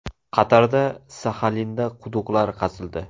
Qatarda, Saxalinda quduqlar qazildi.